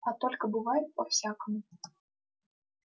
а только бывает по-всякому